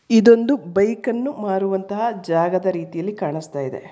ಇದೊಂದು ಬೈಕ್ ಅನ್ನು ಮಾರುವಂತಹ ಜಾಗದ ರೀತಿಯಲ್ಲಿ ಕಾಣಿಸ್ತಾ ಇದೆ.